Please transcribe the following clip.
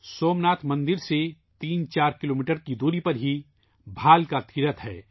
سومناتھ مندر سے 3 4 کلومیٹر فاصلے پر بھالکا تیرتھ ہے